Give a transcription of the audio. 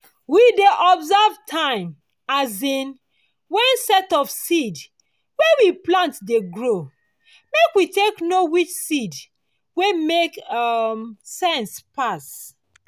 we dey observe time um when set of seed wey we plant dey grow make we take know which seed wey make um sense pass.